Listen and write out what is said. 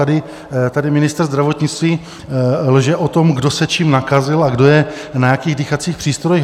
A tady ministr zdravotnictví lže o tom, kdo se čím nakazil a kdo je na jakých dýchacích přístrojích.